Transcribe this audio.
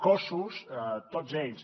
cossos tots ells